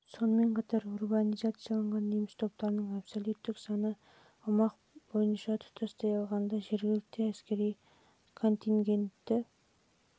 бойынша құрады сонымен қатар урбанизацияланған неміс топтарының абсолюттік саны аумақ бойынша тұтастай алғанда жергілікті әскери контингенттің